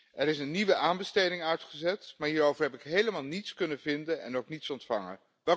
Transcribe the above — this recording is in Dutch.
Er is een nieuwe aanbesteding uitgezet, maar hierover heb ik helemaal niets kunnen vinden en ook niets ontvangen.